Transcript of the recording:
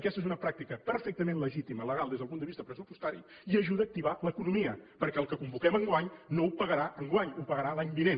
aquesta és una pràctica perfectament legítima legal des del punt de vista pressupostari i ajuda a activar l’economia perquè el que convoquem enguany no ho pagarà enguany ho pagarà l’any vinent